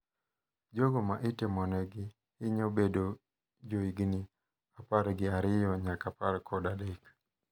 Jogo ma itimone hinyo bedo jo higni apar gi ariyo nyaka apar kod adek.